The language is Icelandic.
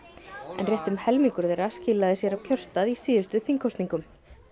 en rétt um helmingur þeirra skilaði sér á kjörstað í síðustu þingkosningum